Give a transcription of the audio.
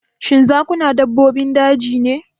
Shin zakuna dabbobin daji ne?